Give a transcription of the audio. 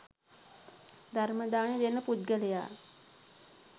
ධර්ම දානය දෙන පුද්ගලයා